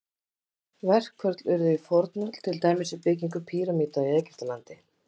Verkföll urðu í fornöld, til dæmis við byggingu pýramída í Egyptalandi.